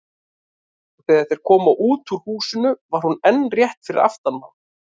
Og þegar þeir komu út úr húsinu var hún enn rétt fyrir aftan þá.